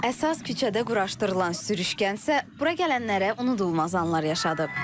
Əsas küçədə quraşdırılan sürüşkən isə bura gələnlərə unudulmaz anlar yaşadıb.